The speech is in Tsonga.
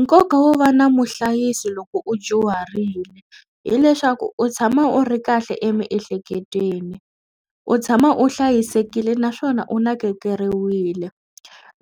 Nkoka wo va na muhlayisi loko u dyuharile hileswaku u tshama u ri kahle emiehleketweni u tshama u hlayisekile naswona u nakekeriwile.